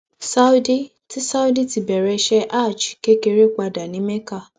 saudi ti saudi ti bẹrẹ iṣẹ hajj kékeré padà ní mecca